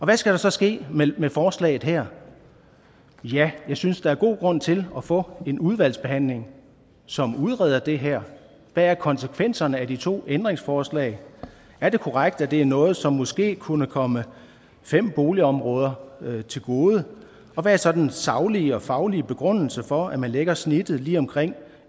hvad skal der så ske med med forslaget her ja jeg synes at der er god grund til at få en udvalgsbehandling som udreder det her hvad er konsekvenserne af de to ændringsforslag er det korrekt at det er noget som måske kunne komme fem boligområder til gode og hvad er så den saglige og faglige begrundelse for at man lægger snittet lige omkring